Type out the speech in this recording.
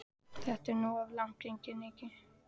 Þetta er nú of langt gengið, Nikki.